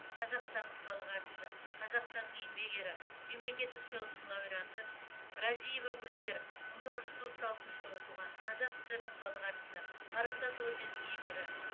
қазақстанның халық әртісі қазақстанның еңбек ері мемлекеттік сыйлықтың лауреаты разиева гульвер мың тоғыз жүз отыз алтыншы жылы туған қазақ сср інің халық әртісі парасат орденінің иегері